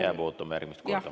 Jääb ootama järgmist korda.